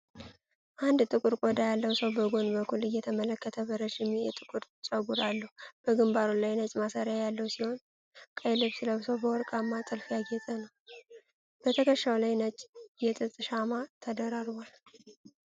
አንድ ጥቁር ቆዳ ያለው ሰው በጎን በኩል እየተመለከተ በረዥም የጥቁር ጸጉር አለው። በግምባሩ ላይ ነጭ ማሰሪያ ያለው ሲሆን፣ ቀይ ልብስ ለብሶ በወርቃማ ጥልፍ ያጌጠ ነው። በትከሻው ላይ ነጭ የጥጥ ሻማ ተደራርቧል።